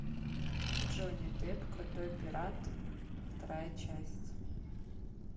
джонни депп крутой пират вторая часть